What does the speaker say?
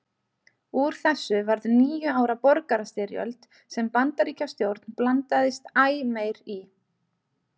Úr þessu varð níu ára borgarastyrjöld sem Bandaríkjastjórn blandaðist æ meir í.